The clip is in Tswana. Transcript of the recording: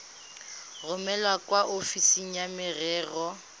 romele kwa ofising ya merero